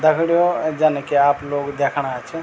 दगडियों जन की आप लोग देखणा छ।